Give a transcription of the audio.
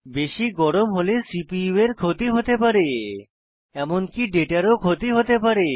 বেশি গরম হলে সিপিইউ এর ক্ষতি হতে পারে এমনকি ডেটারও ক্ষতি হতে পারে